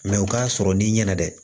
Mɛ o k'a sɔrɔ n'i ɲɛna dɛ